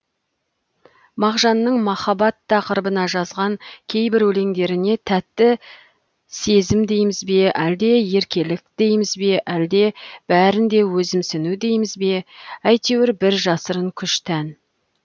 мағжанның махаббат тақырыбына жазған кейбір өлеңдеріне тәтті сезім дейміз бе әлде еркелік дейміз бе әлде бәрін де өзімсіну дейміз бе әйтеуір бір жасырын күш тән